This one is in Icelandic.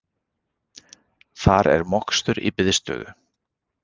Þar er mokstur í biðstöðu